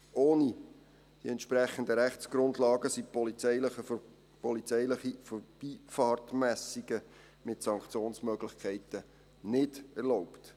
Ohne die entsprechenden Rechtsgrundlagen sind polizeiliche Vorbeifahrtmessungen mit Sanktionsmöglichkeiten nicht erlaubt.